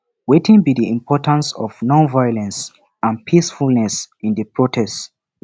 wetin be di importance of nonviolence and peacefulness in di protest